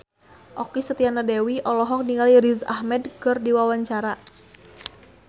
Okky Setiana Dewi olohok ningali Riz Ahmed keur diwawancara